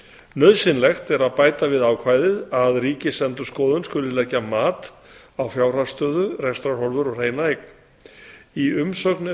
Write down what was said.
nauðsynlegt er að bæta við ákvæðið að ríkisendurskoðun skuli leggja mat á fjárhagsstöðu rekstrarhorfur og hreina eign í umsögn